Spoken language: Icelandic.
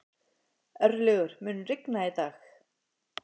Örlygur, mun rigna í dag?